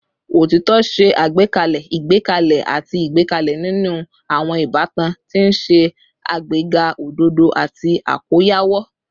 Otitọ ṣe agbekele igbẹkẹle ati igbẹkẹle ninu awọn ibatan, ti n ṣe agbega ododo ati akoyawo